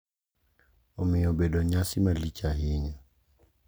Omiyo obedo nyasi malich ahinya